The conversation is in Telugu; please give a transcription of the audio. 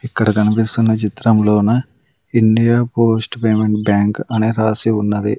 ఇక్కడ కనిపిస్తున్న చిత్రం లోన ఇండియా పోస్ట్ పేమెంట్ బ్యాంక్ అనే రాసి ఉన్నది.